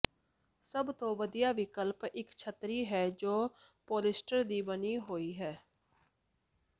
ਸਭ ਤੋਂ ਵਧੀਆ ਵਿਕਲਪ ਇਕ ਛਤਰੀ ਹੈ ਜੋ ਪੌਲਿਸਟਰ ਦੀ ਬਣੀ ਹੋਈ ਹੈ